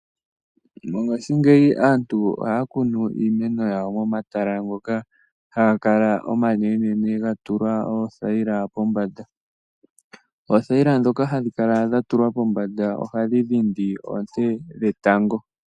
Mongashingeyi aantu ohaya kunu iimeno yawo momatala ngoka haga kala omanene ga tulwa oothayila pombanda. Oothayila ndhoka hadhi kala dha tulwa pombanda ohadhi dhindi oonte dhetango.